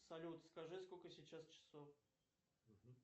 салют скажи сколько сейчас часов